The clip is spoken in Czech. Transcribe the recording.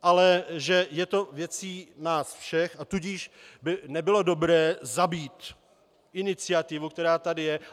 Ale že je to věcí nás všech, a tudíž by nebylo dobré zabít iniciativu, která tady je.